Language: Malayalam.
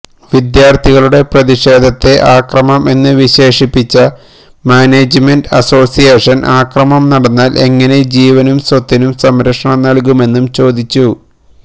വിദ്യാർത്ഥികളുടെ പ്രതിഷേധത്തെ അക്രമം എന്ന് വിശേഷിപ്പിച്ച മാനേജ്മെന്റ് അസോസിയേഷൻ അക്രമം നടന്നാൽ എങ്ങനെ ജീവനും സ്വത്തിനും സംരക്ഷണം നൽകുമെന്നും ചോദിച്ചു